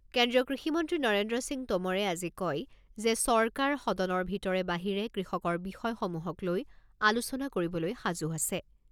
কেন্দ্ৰীয় কৃষিমন্ত্ৰী নৰেন্দ্ৰ সিং টোমৰে আজি কয় যে চৰকাৰ সদনৰ ভিতৰে বাহিৰে কৃষকৰ বিষয়সমূহক লৈ আলোচনা কৰিবলৈ সাজু আছে।